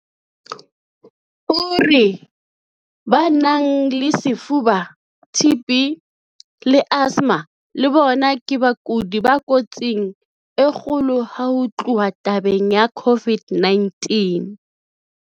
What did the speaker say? O re ba nang le lefuba, TB, le asthma le bona ke bakudi ba kotsing e kgolo ha ho tluwa tabeng ya COVID-19.